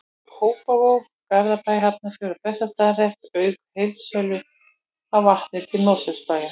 Kópavog, Garðabæ, Hafnarfjörð og Bessastaðahrepp, auk heildsölu á vatni til Mosfellsbæjar.